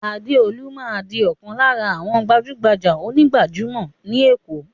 Adeolu máa di ọ̀kan lára àwọn gbajúgbajà onígbàjámọ̀ ni Èkó.